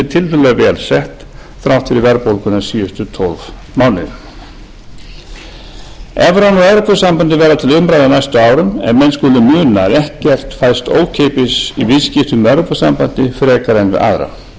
tiltölulega vel sett þrátt fyrir verðbólguna síðustu tólf mánuði evran og evrópusambandið verða til umræðu á næstu árum en menn skulu muna að ekkert fæst ókeypis í viðskiptum við evrópusambandið frekar en við aðra þegar e e